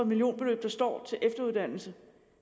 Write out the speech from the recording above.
millionbeløb der står til efteruddannelse